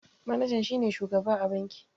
Manajan shi ne shugaba a banki.